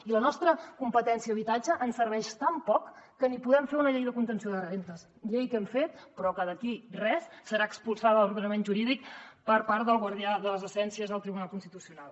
i la nostra competència en habitatge ens serveix tan poc que ni podem fer una llei de contenció de rendes llei que hem fet però que d’aquí a res serà expulsada de l’ordenament jurídic per part del guardià de les essències el tribunal constitucional